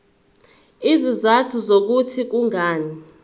izizathu zokuthi kungani